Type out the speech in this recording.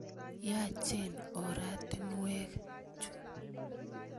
Yaachen oratinwek chu.